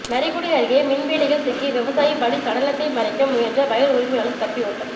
நரிக்குடி அருகே மின்வேலியில் சிக்கி விவசாயி பலி சடலத்தை மறைக்க முயன்ற வயல் உரிமையாளா் தப்பி ஓட்டம்